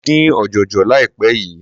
Mo dín ọ̀jọ̀jọ̀ láìpé yìí.